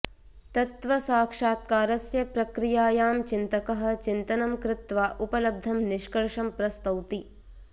तत्त्वसाक्षात्कारस्य प्रक्रियायां चिन्तकः चिन्तनं कृत्वा उपलब्धं निष्कर्षं प्रस्तौति